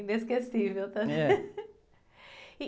Inesquecível também.